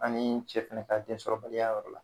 Ani cɛ fɛnɛ ka densɔrɔbaliya yɔrɔ la